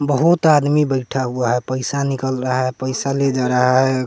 बहुत आदमी बैठा हुआ है पैसा निकल रहा है पैसा ले जा रहा है।